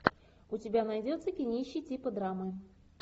у тебя найдется кинище типа драмы